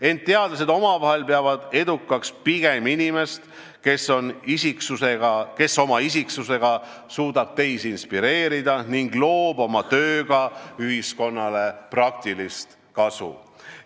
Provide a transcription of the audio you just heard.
Ent teadlased peavad edukaks pigem inimest, kes oma isiksusega suudab teisi inspireerida ning toob oma tööga ühiskonnale praktilist kasu.